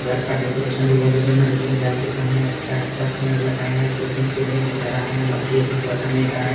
घर का डेकोरेशन भी बहुत ही सुंदर किया गया है अच्छा-अच्छा पेड़ लगाए है दो-तीन पेड़ ही नज़र आ रहे है बाकी ये पेड़ बताने का है।